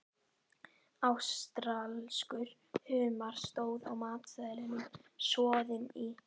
Ástralskur humar, stóð á matseðlinum, soðinn í